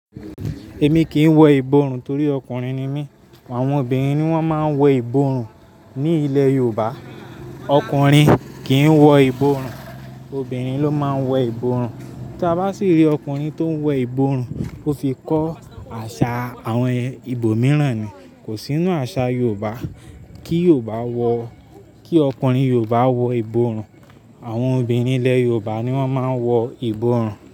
Èmi kì í wọ ìborùn torí ọkùnrin ni mí. Àwọn obìnrin ni wọ́n máa ń wọ ìborùn. Ni ilẹ̀ Yorùbá, ọkùnrin kì í wọ ìborùn, obìnrin ló máa ń wọ ìborùn. Tí a bá sì rí ọkùnrin tó ń wọ ìborùn, ó fi kọ́ àṣà àwọn ìbò mìíràn ni. Kò sí nínú àṣà Yorùbá kí Yorùbá wọ-- kí ọkùnrin Yorùbá wọ ìborùn. Àwọn obìnrin ilẹ̀ Yorùbá ni wọ́n máa ń wọ ìborùn.